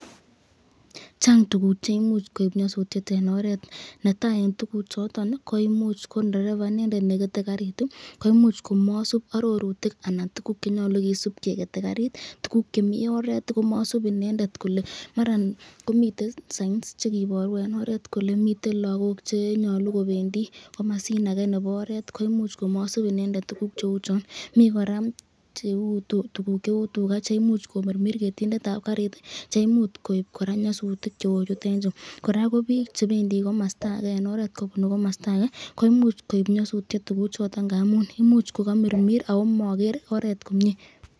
Chang tukuk cheimuch koib nyosutiet en oreet netai en tukuchoton koimuch ko ndereba inendet nekete karit koimuch komosib arorutik anan tukuk chenyolu kisiib kekete karit, tukuk chemi oreet komosib inendet kole maran komiten signs chekiboru en oreet kolee miten lokok chenyolu kobendi komosin akee nebo oreet koimuch komosib inendet tukuk cheuchon, mii kora cheuu tukuk cheuu tukaa cheimuch komirmir ketindetab karit cheimuch koib kora nyosutik cheuchuton chuu, kora biik chebendi komosto akee en oreet kobunu komosto akee ko imuch koib nyosutiet tukuchoton amun imuch ko komirmir ago moker oreet komie.